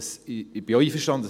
Ich bin auch einverstanden.